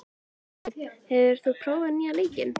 Jósteinn, hefur þú prófað nýja leikinn?